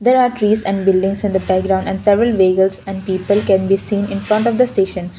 there are trees and buildings on the background and several vehicles and people can be seen in front of the station.